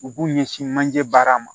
U b'u ɲɛsin manje baara ma